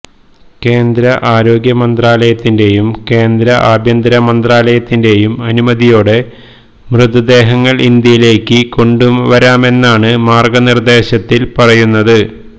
കേന്ദ്ര ആരോഗ്യ മന്ത്രാലയത്തിന്റെയും കേന്ദ്ര ആഭ്യന്തര മന്ത്രാലയത്തിന്റെയും അനുമതിയോടെ മൃതദേഹങ്ങള് ഇന്ത്യയിലേക്ക് കൊണ്ടുവരാമെന്നാണ് മാര്ഗനിര്ദേശത്തില് പറയുന്നത്